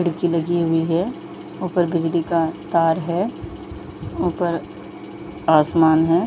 खिड़की लगी हुई है ऊपर बिजली का तार है ऊपर आसमान है।